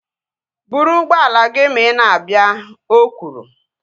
Buru ụgbọala gị ma ị na-abịa! O kwuru